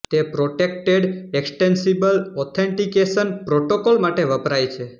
તે protected extensible authentication protocol માટે વપરાય છે